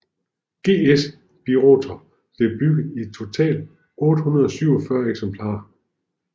GS Birotor blev bygget i totalt 847 eksemplarer